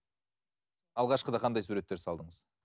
алғашқыда қандай суреттер салдыңыз